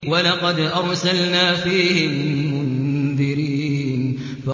وَلَقَدْ أَرْسَلْنَا فِيهِم مُّنذِرِينَ